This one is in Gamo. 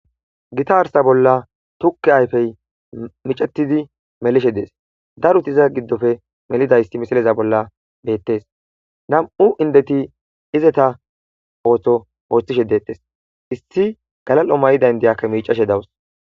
Gita arsa bolla tukke ayfey micatidi melishe dees daruti iza giddofe melidayisti misaleza bolla beettes nam'u indeti izeta ootho ooththishe deettes issi galal'o may'i dayndiyakka micashe dawus.